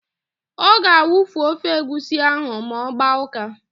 Ọ ga-awufu ofe egwusi ahụ ma ọ gbaa ụ́ká.